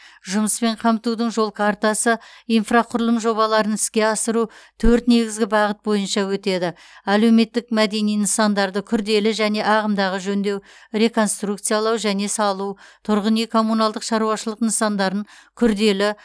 жұмыспен қамтудың жол картасы инфрақұрылым жобаларын іске асыру төрт негізгі бағыт бойынша өтеді әлеуметтік мәдени нысандарды күрделі және ағымдағы жөндеу реконструкциялау және салу тұрғын үй коммуналдық шаруашылық нысандарын күрделі